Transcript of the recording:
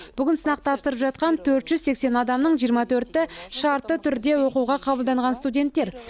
бүгін сынақ тапсырып жатқан төрт жүз сексен адамның жиырма төрті шартты түрде оқуға қабылданған студенттер